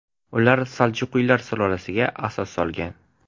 Ular saljuqiylar sulolasiga asos solgan.